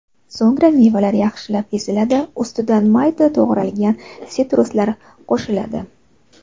So‘ngra mevalar yaxshilab eziladi, ustidan mayda to‘g‘ralgan sitruslar qo‘shiladi.